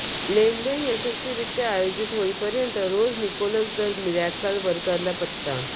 लेनदेन यशस्वीरित्या आयोजित होईपर्यंत रोज निकोलस द मिरॅकल वर्करला पत्ता